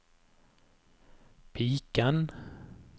piken